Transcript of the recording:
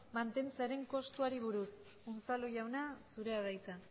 mantentzearen kostuari buruz unzalu jauna zurea da hitza